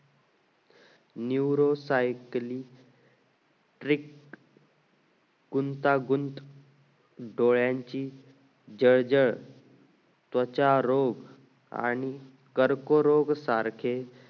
nuorocycle trick गुंता गुंत डयांची जय जय त्वचा रोग आणि कर्क रोग सारखे